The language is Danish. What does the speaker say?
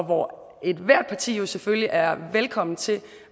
hvor ethvert parti selvfølgelig er velkommen til